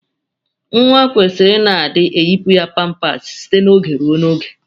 Nwa kwesiri ina adi eyipụ ya pampas site na oge ruo na oge.